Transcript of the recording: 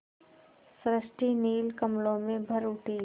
सृष्टि नील कमलों में भर उठी